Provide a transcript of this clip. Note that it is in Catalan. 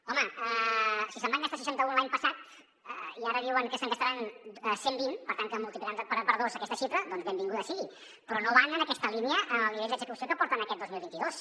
home si se’n van gastar seixanta un l’any passat i ara diuen que se’n gastaran cent i vint per tant que multiplicaran per dos aquesta xifra doncs benvinguda sigui però no van en aquesta línia en el nivell d’execució que porten aquest dos mil vint dos